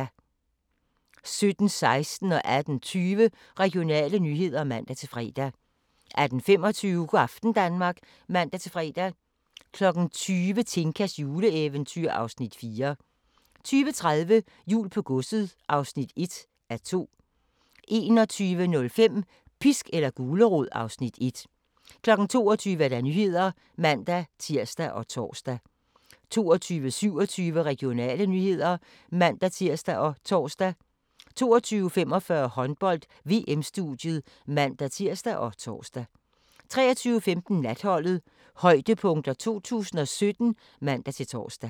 17:16: Regionale nyheder (man-fre) 18:20: Regionale nyheder (man-fre) 18:25: Go' aften Danmark (man-fre) 20:00: Tinkas juleeventyr (Afs. 4) 20:30: Jul på godset (1:2) 21:05: Pisk eller gulerod (Afs. 1) 22:00: Nyhederne (man-tir og tor) 22:27: Regionale nyheder (man-tir og tor) 22:45: Håndbold: VM - studiet (man-tir og tor) 23:15: Natholdet - højdepunkter 2017 (man-tor)